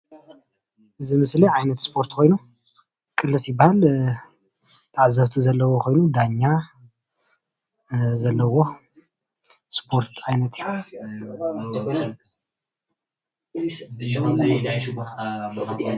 እዚ ምስሊ ዓይነት እስፖርቲ ኮይኑ ቅልስ ይባሃል፡፡ ተዓዘብቲ ዘልዉዎ ኮይኑ ደኛ ዘለዉዎ እስፖርት ዓይነት እዩ፡፡